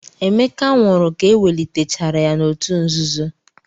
Emeka nwụrụ ka ewelitechara ya n'òtù nzuzo.